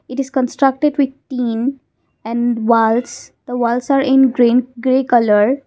it is constructed with tin and walls the walls are in green grey colour.